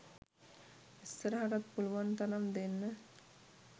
ඉස්සරහටත් පුළුවන් තරම් දෙන්න